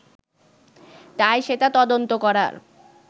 তাই সেটা তদন্ত করার